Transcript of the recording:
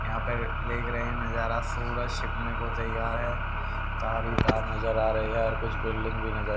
यहां पर देख रहे हैं नजारा सूरज छिपने को तैयार है तार ही तार नजर आ रही है और कुछ बिल्डिंग भी--